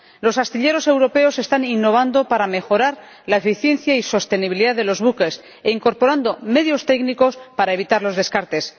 Los astilleros europeos están innovando para mejorar la eficiencia y sostenibilidad de los buques e incorporando medios técnicos para evitar los descartes.